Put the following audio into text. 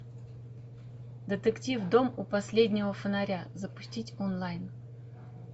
детектив дом у последнего фонаря запустить онлайн